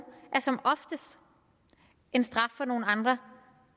er som oftest en straf for nogle andre